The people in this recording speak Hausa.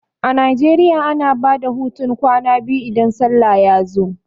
A Najeriya ana bada hutun kwana biyu idan sallah ya zo